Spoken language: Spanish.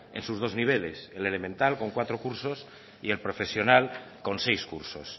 en sus dos niveles el elemental con cuatro cursos y el profesional con seis cursos